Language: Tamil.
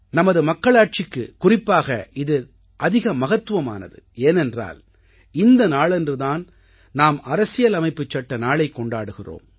நமது மக்களாட்சிக்குக் குறிப்பாக இது அதிக மகத்துவமானது ஏனென்றால் இந்த நாளன்று தான் நாம் அரசியலமைப்புச் சட்ட நாளைக் கொண்டாடுகிறோம்